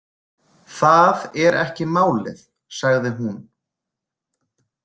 Það er ekki málið, sagði hún.